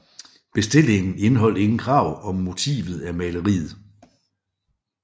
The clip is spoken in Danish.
Bestillingen indeholdt ingen krav om motivet af maleriet